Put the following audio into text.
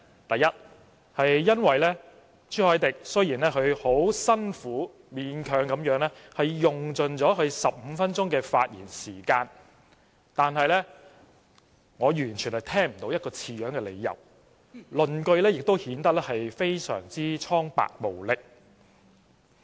第一，因為朱凱廸議員雖然很辛苦、勉強地用盡其15分鐘發言時間，但我完全聽不到一個合理的理由，論據也顯得非常單薄無力。